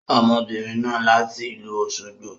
Ọmọbìnrin náà láti ìlú Òsogbo.